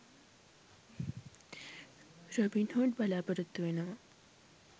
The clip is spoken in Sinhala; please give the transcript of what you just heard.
රොබින්හූඩ් බලපොරොත්තු වෙනවා.